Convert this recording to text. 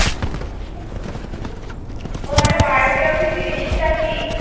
ও মানে biography জিনিসটা কি?